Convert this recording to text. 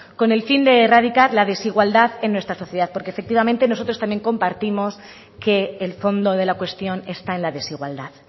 con el fin de erradicar la desigualdad en nuestra sociedad porque efectivamente nosotros también compartimos que el fondo de la cuestión está en la desigualdad